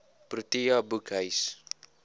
protea boekhuis